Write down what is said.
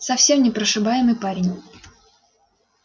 совсем непрошибаемый парень